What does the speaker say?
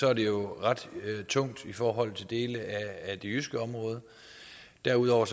er det jo ret tungt i forhold til dele af det jyske område derudover